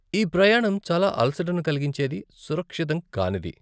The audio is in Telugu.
ఈ ప్రయాణం చాలా అలసటను కలిగించేది, సురక్షితం కానిది.